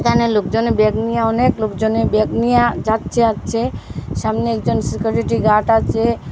এখানে লোকজনে ব্যাগ নিয়া অনেক লোকজনে ব্যাগ নিয়া যাচ্ছে আসছে সামনে একজন সিকরিটি গার্ড আছে।